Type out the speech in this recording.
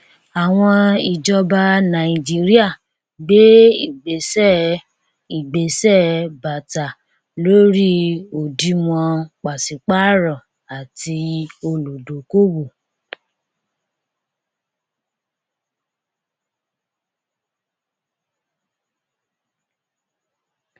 àwọn ìjọba nàìjíríà gbé ìgbésẹ ìgbésẹ bàtà lórí òdìwọn pàṣípàrọ àti olùdókòwò